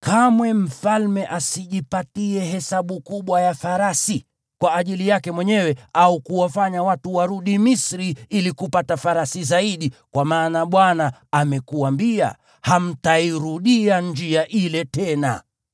kamwe mfalme asijipatie hesabu kubwa ya farasi kwa ajili yake mwenyewe, au kuwafanya watu warudi Misri ili kupata farasi zaidi, kwa maana Bwana amekuambia, “Hamtairudia njia ile tena.”